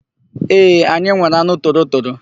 Ee, anyị nwere anụ torotoro.